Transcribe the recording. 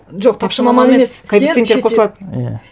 жоқ тапшы маман емес сен шетел иә